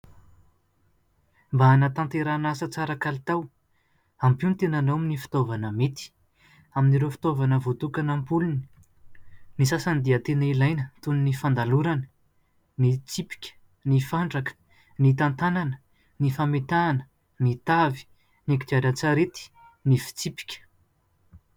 Mba hanatanterahana asa tsara kalitao, ampio ny tenanao amin'ny fitaovana mety. Amin'ireo fitaovana voatokana ampolony, ny sasany dia tena ilaina toy ny fandalorana, ny tsipika, ny fandraka, ny tantanana, ny fametahana, ny tavy, ny kodiaran-tsarety, ny fitsipika.